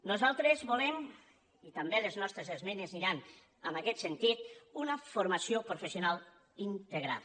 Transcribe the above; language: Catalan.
nosaltres volem i també les nostres esmenes aniran en aquest sentit una formació professional integrada